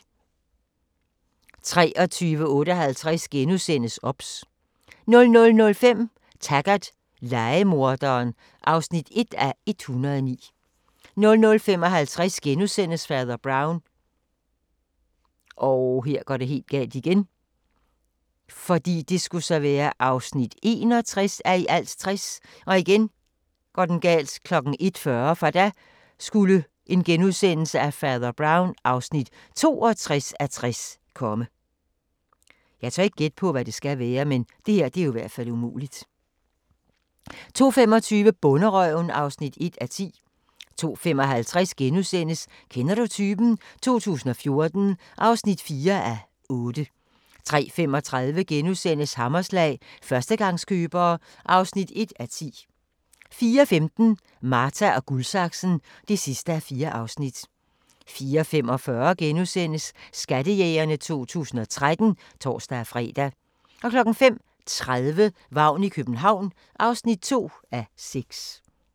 23:58: OBS * 00:05: Taggart: Lejemorderen (1:109) 00:55: Fader Brown (61:60)* 01:40: Fader Brown (62:60)* 02:25: Bonderøven (1:10) 02:55: Kender du typen? 2014 (4:8)* 03:35: Hammerslag – Førstegangskøbere (1:10)* 04:15: Marta & Guldsaksen (4:4) 04:45: Skattejægerne 2013 *(tor-fre) 05:30: Vagn i København (2:6)